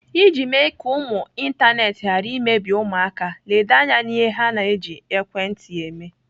Iji mee ka ụmụ ịntanetị ghara imebi ụmụaka, ledo anya n'ihe ha na-eji ekwentị eme.